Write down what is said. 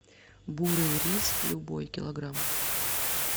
бурый рис любой килограмм